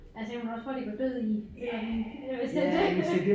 Altså jeg ville også hurtigt gå død i øh hvis det var det